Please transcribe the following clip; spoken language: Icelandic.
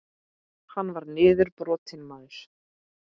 Hann var niðurbrotinn maður.